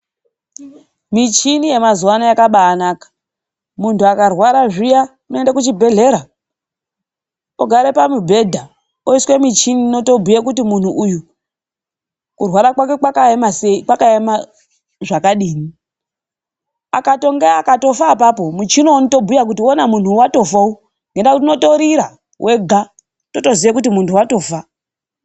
Michini yamazuvano yakabaanaka. Muntu akarwara zviya, unoende kuzvibhedhlera, wogare pamubhedha. Oiswe michini inotobhuye kuti muntu uyu kurwara kwake kwakaema sei, kwakaema zvakadii. Akatonge akatofa apapo, muchini unotobhuya kuti hona muntu watofa uyu, nendaa yekuti unotorira wega. Totoziye kuti muntu watofa.